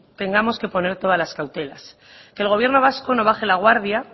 tengamos que poner toda las cautelas que el gobierno vasco no baje la guardia